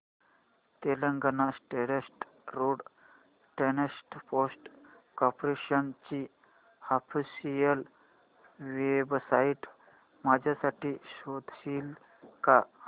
Telangana state road transport corporation ची official website माझ्यासाठी शोधशील का